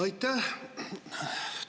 Aitäh!